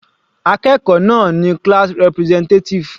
Akẹ́kọ̀ọ́ náà ni class representative.